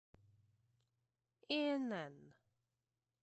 инн